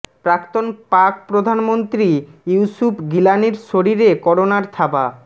প্রাক্তন পাক প্রধান মন্ত্রী ইউসুফ গিলানির শরীরে করোনার থাবা